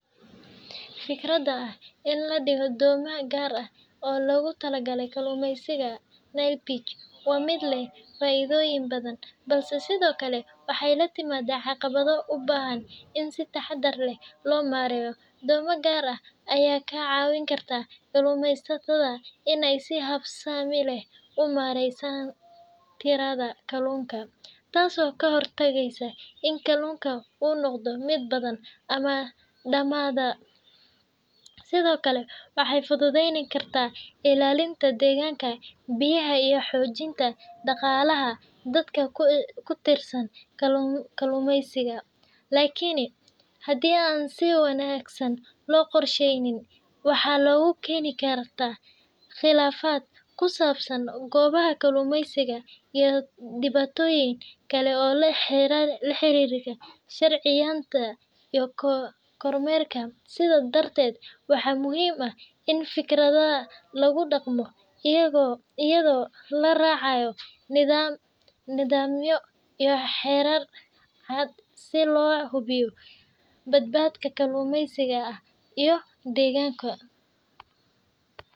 Fikradda ah in la dhigo doomo gaar ah oo loogu talagalay kalluumaysiga Nile Perch waa mid leh faa’iidooyin badan, balse sidoo kale waxay la timaadaa caqabado u baahan in si taxadar leh loo maareeyo. Doomo gaar ah ayaa ka caawin karta kalluumaysatada in ay si habsami leh u maareeyaan tirada kalluunka, taasoo ka hortagaysa in kalluunka uu noqdo mid badan ama dhamaada. Sidoo kale, waxay fududayn kartaa ilaalinta deegaanka biyaha iyo xoojinta dhaqaalaha dadka ku tiirsan kalluumaysiga. Laakiin, haddii aan si wanaagsan loo qorshaynin, waxay keeni kartaa khilaafaad ku saabsan goobaha kalluumaysiga iyo dhibaatooyin kale oo la xiriira sharciyeynta iyo kormeerka. Sidaas darteed, waxaa muhiim ah in fikraddan lagu dhaqmo iyadoo la raacayo nidaamyo iyo xeerar cad si loo hubiyo badqabka kalluumaysiga iyo deegaanka.